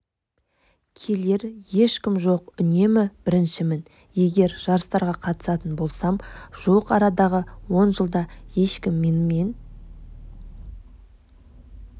келер ешкім жоқ үнемі біріншімін егер жарыстарға қатысатын болсам жуық арадағы он жылда ешкім менімен